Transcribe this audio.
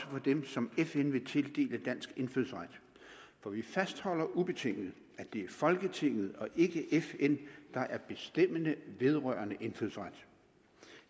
for dem som fn vil tildele dansk indfødsret for vi fastholder ubetinget at det er folketinget og ikke fn der er bestemmende vedrørende indfødsret